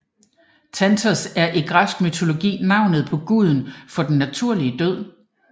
Thanatos er i græsk mytologi navnet på guden for den naturlige død